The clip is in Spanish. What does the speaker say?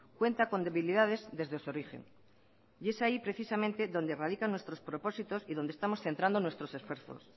cuenta con debilidades desde su origen y es ahí precisamente donde radican nuestros propósitos y donde estamos centrando nuestros esfuerzos